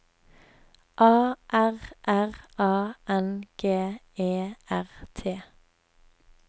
A R R A N G E R T